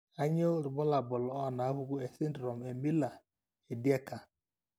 kainyio irbulabul onaapuku esindirom eMiller Dieker?